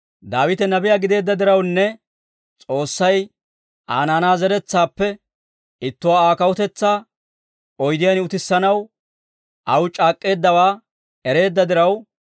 Daawite Nabiyaa gideedda dirawunne S'oossay Aa naanaa zeretsaappe ittuwaa Aa kawutetsaa oydiyaan utissanaw aw c'aak'k'eeddawaa ereedda diraw,